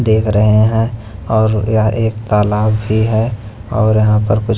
देख रहे हैं और यह एक तालाब भी है और यहां पर कुछ--